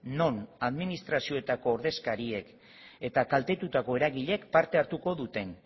non administrazioetako ordezkariek eta kaltetutako eragileek parte hartuko duten